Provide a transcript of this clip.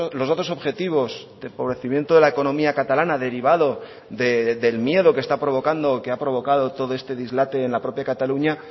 los datos objetivos de empobrecimiento de la economía catalana derivado del miedo que está provocando que ha provocado todo este dislate en la propia cataluña